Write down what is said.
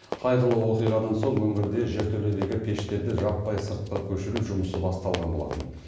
қайғылы оқиғадан соң өңірде жертөледегі пештерді жаппай сыртқа көшіру жұмысы басталған болатын